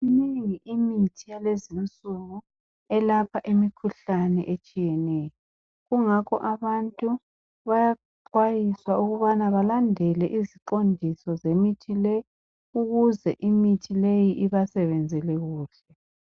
Imningi imithi yalezinsuku elapha imikhuhlane etshiyeneyo, kungakho abantu bayaxwayiswa ukubana balandele iziqondiso zemithi le ukuze imithi le ibasebenzele kuhle.